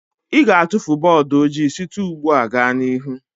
Ị ga-atụfu bọọdụ ojii site ugbu a gaa n'ihu.